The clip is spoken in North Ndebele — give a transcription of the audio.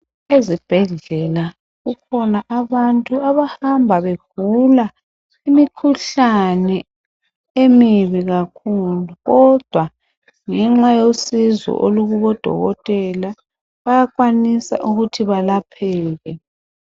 Ezibhedlela kukhona abantu abahamba begula imikhuhlane emibi kakhulu, kodwa ngenxa yosizo olukubodokotela bayakwanisa ukuthi balapheke.